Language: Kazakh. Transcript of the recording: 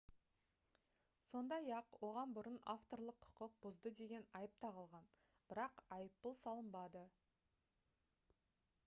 сондай-ақ оған бұрын авторлық құқық бұзды деген айып тағылған бірақ айыппұл салынбады